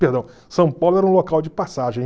Perdão, São Paulo era um local de passagem.